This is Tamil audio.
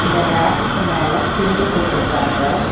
இந்த ரேக்குக்கு மேல பிள்ளு போட்ருக்காங்க.